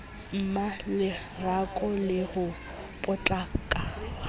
mmalerato le ho potlaka ha